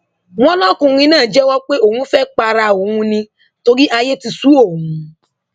wọn lọkùnrin náà jẹwọ pé òun fẹẹ para òun ni torí ayé ti sú òun òun